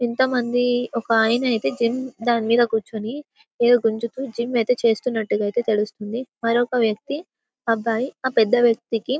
ఇంత మంది ఒక ఆయన ఐతే జిమ్ దానిమీద క్యూచోని అదో గుంజుతూ ఏదో జిమ్ యితే చేస్తునట్టు యితే తెలుసుతుంది మరొక్క వ్వక్తి అబ్బాయి ఆ పెద్ద వ్వక్తికి --